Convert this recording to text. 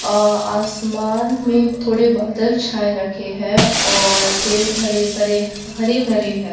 अ आसमान में थोड़े बादल छाए रखे हैं और पेड़ भडे परे हरे भरे हैं।